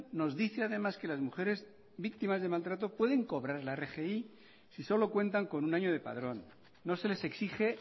nos dice además que las mujeres víctimas de maltrato pueden cobrar la rgi si solo cuentan con un año de padrón no se les exige